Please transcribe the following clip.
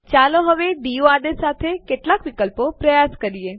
ચાલો હવે ડીયુ આદેશ સાથે કેટલાક વિકલ્પો પ્રયાસ કરીએ